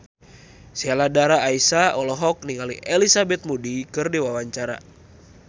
Sheila Dara Aisha olohok ningali Elizabeth Moody keur diwawancara